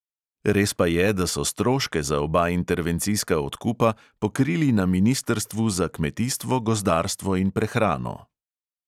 Res pa je, da so stroške za oba intervencijska odkupa pokrili na ministrstvu za kmetijstvo, gozdarstvo in prehrano.